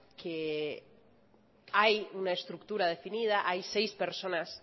que hay una estructura definida hay seis personas